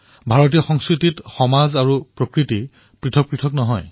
ভাৰতীয় সংস্কৃতিত সমাজ আৰু প্ৰকৃতিক ভিন্ন বুলি ভবা নহয়